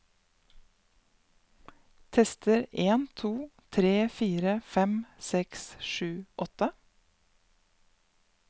Tester en to tre fire fem seks sju åtte